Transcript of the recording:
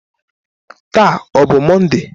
Taa ọ bụ Mọnde?